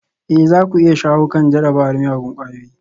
Ee za ku iya shawo kan jarabar miyagun ƙwayoyi